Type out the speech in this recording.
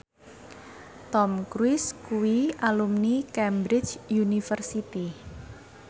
Tom Cruise kuwi alumni Cambridge University